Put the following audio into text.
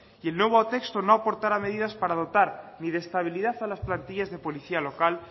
y el nuevo texto no aportará medidas para adoptar ni de estabilidad a las plantillas de policía local